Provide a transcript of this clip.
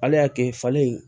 Ala y'a kɛ falen in